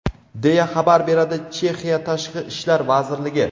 deya xabar beradi Chexiya Tashqi ishlar vazirligi.